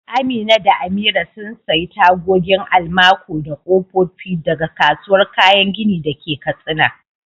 Amina da Amira sun sayi tagogin almaco da kofofi daga kasuwar kayan gini da ke Katsina.